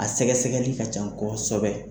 A sɛgɛsɛgɛli ka can kɔsɔbɛ.